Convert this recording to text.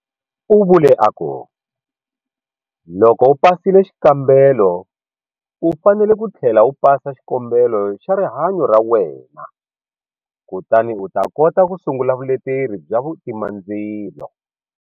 U vule a ku, Loko u pasile xikambelo u fanele ku tlhela u pasa xikombelo xa rihanyo ra wena kutani u ta kota ku sungula vuleteri bya vutimandzilo.